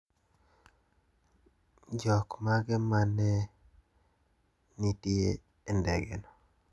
Jokmage ma ne nitie e ndege no?